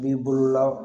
B'i bolola